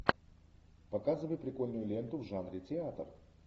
показывай прикольную ленту в жанре театр